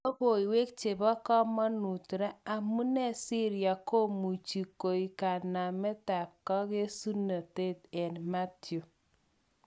Lokoiwek chebo komonut ra: Amune Syria komuche koik kanamet ak kokesunet eng Mathew.